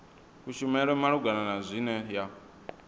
kushumele malugana na zwine ya